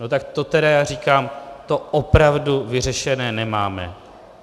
No tak to teda já říkám, to opravdu vyřešené nemáme.